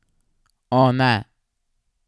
O, ne!